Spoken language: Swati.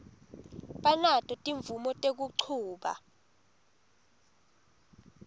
banato timvumo tekuchuba